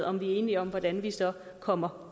om vi er enige om hvordan vi så kommer